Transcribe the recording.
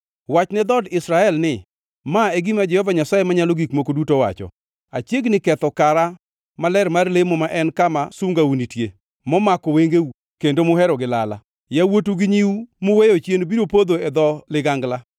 Wachne dhood Israel ni, ‘Ma e gima Jehova Nyasaye Manyalo Gik Moko Duto owacho: Achiegni ketho kara maler mar lemo ma en kama sungau nitie, momako wengeu, kendo muhero gi lala. Yawuotu gi nyiu muweyo chien biro podho e dho ligangla.